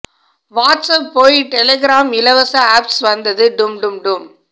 WhatsApp போய் Telegram இலவச apps வந்தது டும் டும் டும்